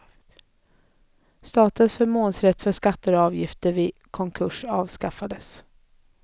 Statens förmånsrätt för skatter och avgifter vid konkurs avskaffas.